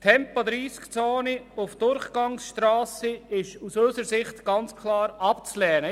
Tempo-30-Zonen auf Durchgangsstrassen sind aus unserer Sicht ganz klar abzulehnen.